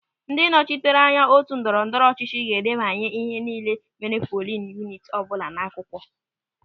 Ndị nnọchiteanya otu ndọrọ ndọrọ ọchịchị ga-edebanye ihe nille mere polin yuniti ọbụla n'akwụkwọ.